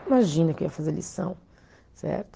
Imagina que eu ia fazer lição, certo?